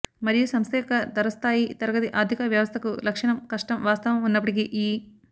మరియు సంస్థ యొక్క ధర స్థాయి తరగతి ఆర్ధిక వ్యవస్థకు లక్షణం కష్టం వాస్తవం ఉన్నప్పటికీ ఈ